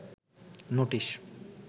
notice